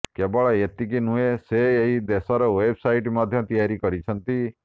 କେବଳ ଏତିକି ନୁହେଁ ସେ ଏହି ଦେଶର ୱେବସାଇଟ ମଧ୍ୟ ତିଆରି କରିଛନ୍ତି